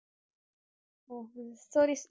stories